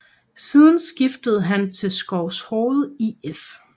Siden skiftede han til Skovshoved IF